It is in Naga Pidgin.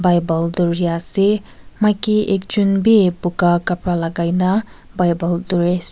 bible duri ase maiki ekjon bi buga kapara lagai na bible duri ase.